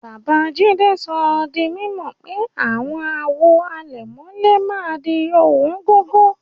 Babajídé sọ dí mímọ̀ pé awọn àwò àlẹ̀mọ̀lẹ̀ màá dì owóngógó.